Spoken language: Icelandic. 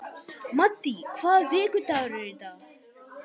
Maddý, hvaða vikudagur er í dag?